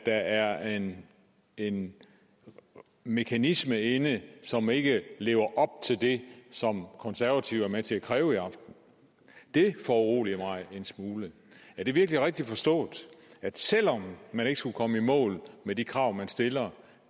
der er en en mekanisme inde som ikke lever op til det som konservative er med til at kræve i aften det foruroliger mig en smule er det virkelig rigtigt forstået at selv om man ikke skulle komme i mål med de krav man stiller